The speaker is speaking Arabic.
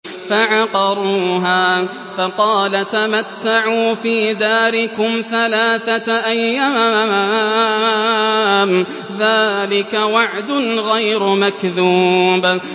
فَعَقَرُوهَا فَقَالَ تَمَتَّعُوا فِي دَارِكُمْ ثَلَاثَةَ أَيَّامٍ ۖ ذَٰلِكَ وَعْدٌ غَيْرُ مَكْذُوبٍ